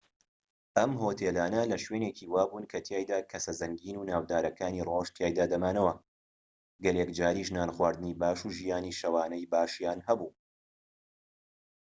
ئەم هۆتێلانە لە شوێنێکی وابوون کەتیایدا کەسە زەنگین و ناودارەکانی ڕۆژ تیایدا دەمانەوە و گەلێک جاریش نانخواردنی باش و ژیانی شەوانەی باشیان هەبوو